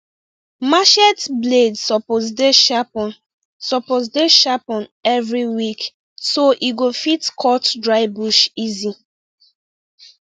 machete blade suppose dey sharpen suppose dey sharpen every week so e go fit cut dry bush easy